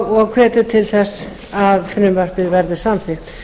og hvetja til þess að frumvarpið yrði samþykkt